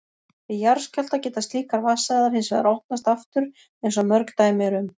Við jarðskjálfta geta slíkar vatnsæðar hins vegar opnast aftur eins og mörg dæmi eru um.